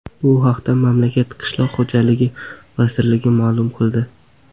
Bu haqda mamlakat qishloq xo‘jaligi vazirligi ma’lum qildi .